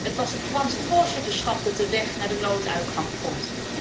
Het was het Franse voorzitterschap dat de weg naar de nooduitgang vond.